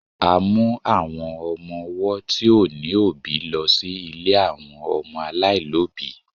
a mu àwọn ọmọ ọwọ ti o ni obi lo sí ilè àwọn ọmọ alailobi